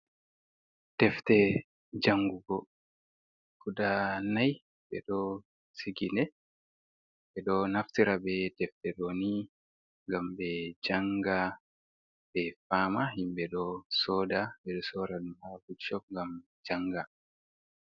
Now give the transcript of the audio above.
Defte jangugo guda nayi , ɓe ɗo sigi nde, ɓe ɗo naftira be defte ɗooni ngam ɓe jannga ɓe faama. Himɓe ɗo sooda, ɓe ɗo sooda ɗum haa bukcop. ngam jannga.